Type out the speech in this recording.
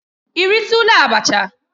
Ị ritula abacha?